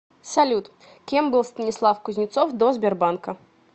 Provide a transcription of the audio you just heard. салют кем был станислав кузнецов до сбербанка